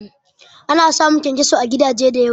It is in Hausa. Ana samun kyankyaso à gidaje da yawa